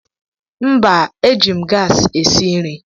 Mba, eji m gas esi nri.